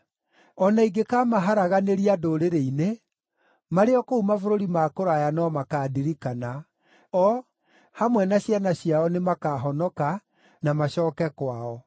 O na ingĩkamaharaganĩria ndũrĩrĩ-inĩ, marĩ o kũu mabũrũri ma kũraya no makaandirikana. O, hamwe na ciana ciao nĩmakahonoka na macooke kwao.